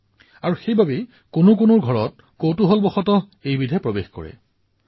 তেওঁলোকে ইয়াৰ ক্ষতি সম্পৰ্কে সম্পূৰ্ণ অনভিজ্ঞ আৰু এইবাবেই কেতিয়াবা কৌতুহলত ইচিগাৰেটে ঘৰৰ ভিতৰত প্ৰৱেশ কৰে